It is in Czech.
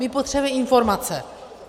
My potřebujeme informace.